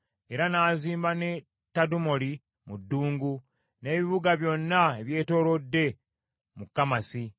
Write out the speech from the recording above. Era n’azimba ne Tadumoli mu ddungu, n’ebibuga byonna, eby’etterekero mu Kamasi.